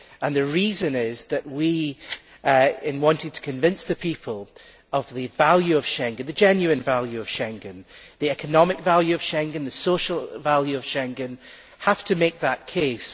The reason is that we, in wanting to convince the people of the value of Schengen the genuine value of Schengen, the economic value of Schengen, the social value of Schengen have to make that case.